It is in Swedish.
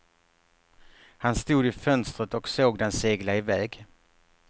Han stod i fönstret och såg den segla iväg.